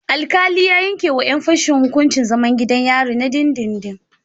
Alkali ya yanke wa yan fashen hukuncin zaman gidan yari na dindindin